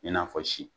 I n'a fɔ si